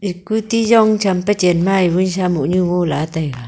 jong pe chen ma e mo lah taiga.